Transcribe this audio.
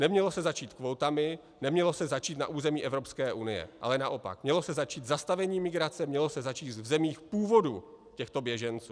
Nemělo se začít kvótami, nemělo se začít na území Evropské unie, ale naopak, mělo se začít zastavením migrace, mělo se začít v zemích původu těchto běženců.